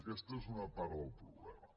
aquesta és una part del problema